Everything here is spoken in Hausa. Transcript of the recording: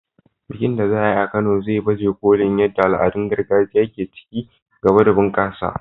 Bikin da za a yi a Kano zai baje kolin yadda al'adun gargajiya ke ci gaba da bunƙasa.